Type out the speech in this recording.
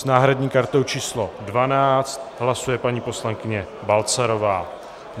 S náhradní kartou číslo 12 hlasuje paní poslankyně Balcarová.